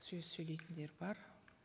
сөз сөйлейтіндер бар